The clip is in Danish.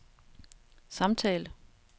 samtale